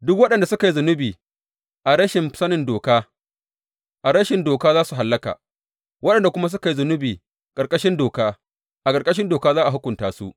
Duk waɗanda suka yi zunubi a rashi sanin doka, a rashin doka za su hallaka, waɗanda kuma suka yi zunubi ƙarƙashin doka, a ƙarƙashin doka za a hukunta su.